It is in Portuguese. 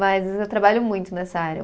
Mas às vezes eu trabalho muito nessa área.